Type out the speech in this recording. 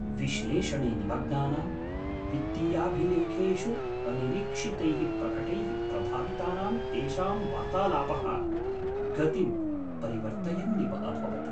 विश्लेषणे निमग्नानां, वित्तीयाभिलेखेषु अनिरीक्षितैः प्रकटैः प्रभावितानां तेषां वार्तालापः गतिं परिवर्तयन्निव अभवत्।